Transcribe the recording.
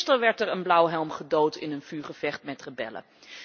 Gisteren werd er een blauwhelm gedood in een vuurgevecht met rebellen.